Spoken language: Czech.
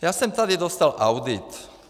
Já jsem tady dostal audit.